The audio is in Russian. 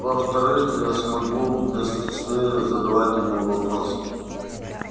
во-вторых я смогу без стеснения задавать ему вопросы